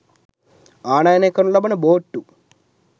ආනයනය කරනු ලබන බෝට්ටු